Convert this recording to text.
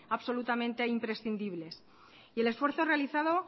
absolutamente imprescindibles el esfuerzo realizado